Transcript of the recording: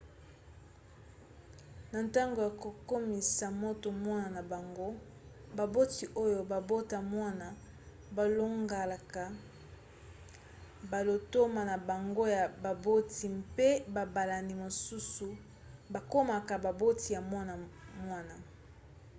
na ntango ya kokomisa moto mwana na bango baboti oyo babota mwana balongolaka balotomo na bango ya baboti mpe babalani mosusu bakomaka baboti ya mwana wana